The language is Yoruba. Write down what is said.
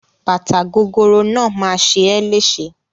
Bàtà gogoro náà máa ṣe é léṣe.